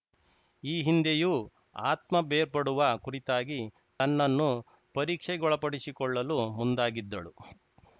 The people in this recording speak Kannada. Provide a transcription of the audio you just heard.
ಈ ಹಿಂದೆಯೂ ಆತ್ಮ ಬೇರ್ಪಡುವ ಕುರಿತಾಗಿ ತನ್ನನ್ನು ಪರೀಕ್ಷೆಗೊಳಪಡಿಸಿಕೊಳ್ಳಲು ಮುಂದಾಗಿದ್ದಳು